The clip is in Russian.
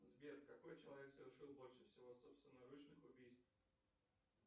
сбер какой человек совершил больше всего собственноручных убийств